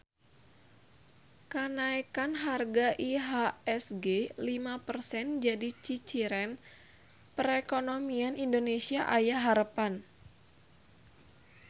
Kanaekan harga IHSG lima persen jadi ciciren perekonomian Indonesia aya harepan